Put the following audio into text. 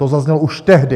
To zaznělo už tehdy.